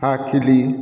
Hakilin